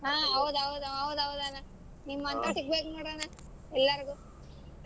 ಹಾ ಹೌದ್ ಹೌದ್ ಹೌದ್ ಹೌದ್ ಅಣ್ಣಾ ನಿಮಂತೊರ್ ಸಿಗಬೇಕ್ ನೋಡಣ್ಣಾ ಎಲ್ಲಾರಿಗೂ.